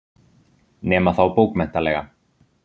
Nema þá bókmenntalega.